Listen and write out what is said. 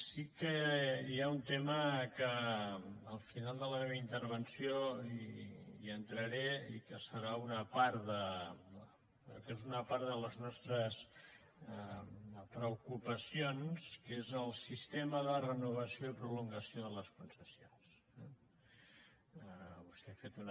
sí que hi ha un tema que al final de la meva intervenció hi entraré i que serà una part que és una part de les nostres preocupacions que és el sistema de renovació i prolongació de les concessions eh vostè ha fet una